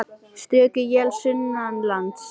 Stöku él sunnanlands